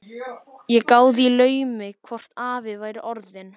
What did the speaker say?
Ég gáði í laumi hvort afi væri orðinn